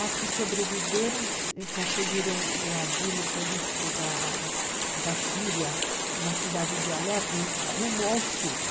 As que sobreviveram e conseguiram o asilo político da Síria, na cidade de Alepo, rumo ao sul.